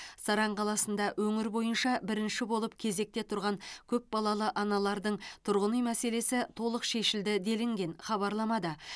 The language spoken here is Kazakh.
саран қаласында өңір бойынша бірінші болып кезекте тұрған көп балалы аналардың тұрғын үй мәселесі толық шешілді делінген хабарламада